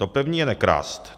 To první je nekrást.